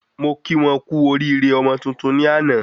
Mo kí wọ́n kú oríire ọmọ tuntun ní àná